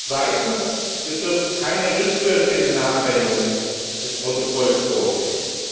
Zweitens Wir dürfen keine rückwirkenden Anwendungen des Protokolls vorsehen.